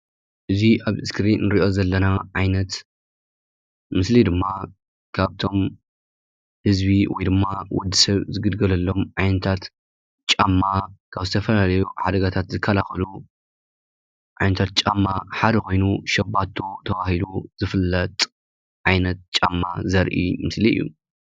እዚ ኣብ እስክሪን እንሪኦ ዘለና ዓይነት ምስሊ ድማ ካብቶም ህዝቢ ወይ ድማ ወድሰብ ዝግልገለሎም ዓይነታት ጫማ ካብ ዝተፈላለዩ ሓደጋታት ዝካላኸሉ ዓይነታት ጫማ ሓደ ኮይኑ ሸባቶ ተባሂሉ ዝፍለጥ ዓይነት ጫማ ዘርኢ ምስሊ እዩ።